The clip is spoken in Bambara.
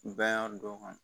Bɛɛ y'a dɔn ka